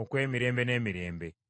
okw’emirembe n’emirembe!